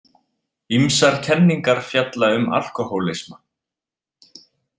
Ýmsar kenningar fjalla um alkóhólisma.